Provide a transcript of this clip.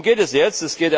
Worum geht es jetzt?